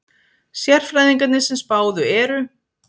Sérfræðingarnir sem spáðu eru: